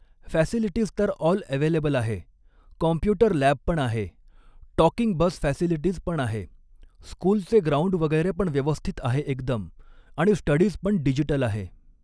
facilities तर all available आहे computer lab पण आहे टॉकिंग बस फॅसिलिटीज पण आहे स्कूलचे ग्राउंड वगैरे पण व्यवस्थित आहे एकदम आणि स्टडीज् पण डिजिटल आहे